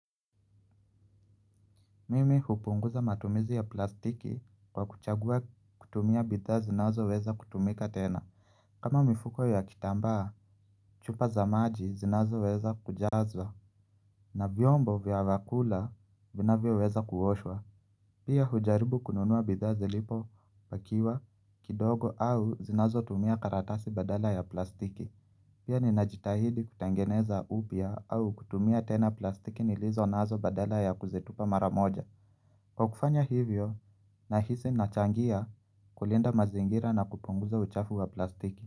Mimi hupunguza matumizi ya plastiki kwa kuchagua kutumia bidhaa zinazo weza kutumika tena. Kama mifuko ya kitambaa, chupa za maji zinazo weza kujazwa na vyombo vya vakula vinavyo weza kuoshwa. Pia hujaribu kununua bidhaa zilipo pakiwa kidogo au zinazo tumia karatasi badala ya plastiki. Pia ni najitahidi kutangeneza upya au kutumia tena plastiki nilizo nazo badala ya kuzetipa mara moja. Kwa kufanya hivyo na hisi nachangia kulinda mazingira na kupunguza uchafu wa plastiki.